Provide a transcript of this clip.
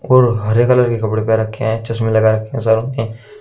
और हरे कलर के कपड़े पहन रखे है चश्मे लगा रखे है सारों ने।